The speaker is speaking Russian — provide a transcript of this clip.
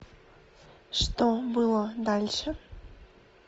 что было дальше